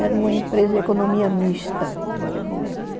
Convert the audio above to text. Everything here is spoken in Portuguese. Era uma empresa de economia mista